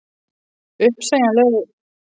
Uppsegjanlegur þá að loknu hverju tímabili eða?